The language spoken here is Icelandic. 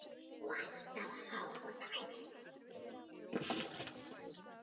Og alltaf hógvær.